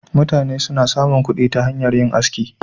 Mutane suna samun kuɗi ta hanyar yin aski.